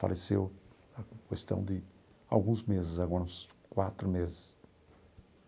Faleceu a questão de alguns meses agora, uns quatro meses.